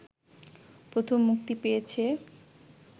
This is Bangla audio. প্রথম মুক্তি পেয়েছে